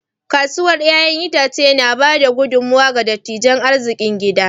Kasuwar 'ya'yan itace na ba da gudummawa ga tattalin arzikin gida.